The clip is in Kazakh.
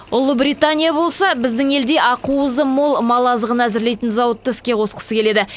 ұлыбритания болса біздің елде ақуызы мол мал азығын әзірлейтін зауытты іске қосқысы келеді